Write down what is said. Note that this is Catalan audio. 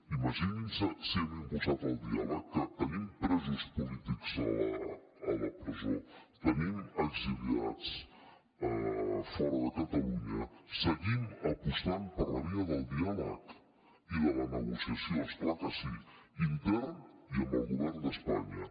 imaginin se si hem impulsat el diàleg que tenint presos polítics a la presó tenint exiliats fora de catalunya seguim apostant per la via del diàleg i de la negociació és clar que sí intern i amb el govern d’espanya